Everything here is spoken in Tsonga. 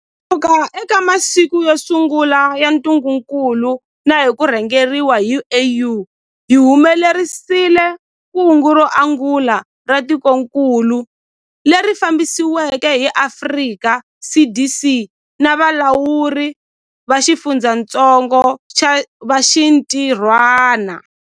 Kusuka eka masiku yo sungula ya ntungukulu na hi ku rhangeriwa hi AU, hi humelerisile kungu ro angula ra tikokulu, leri fambisiweke hi Afrika CDC na valawuri va xifundzatsongo va xintirhwana.